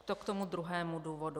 To k tomu druhému důvodu.